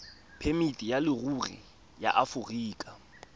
phemiti ya leruri ya aforika